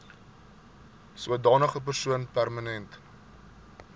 sodanige persoon permanent